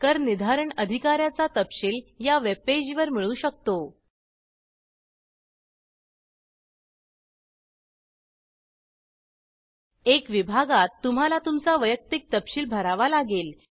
करनिर्धारण अधिकाऱ्याचा तपशील या वेब पेज वर मिळू शकतो 1 विभागात तुम्हाला तुमचा वैयक्तिक तपशील भरावा लागेल